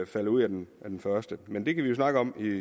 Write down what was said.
falder ud af den første men det kan vi jo snakke om